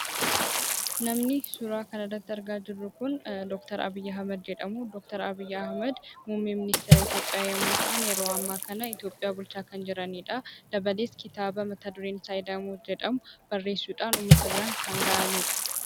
Namni suura kana irratti argaa jirru kun Doctor Abiy Ahmed jedhamu. Doktor Abiy Ahmed muummicha ministeera Itoophiyaa yemmuu ta'an, yeroo ammaa kana Itoophiyaa bulchaa kan jiranidha. Akkasumas kitaaba mata dureen isaa Ida'amuu kan jedhu barreessuudhan uummata biraan kan gahanidha.